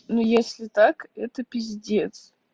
ну если так это пиздец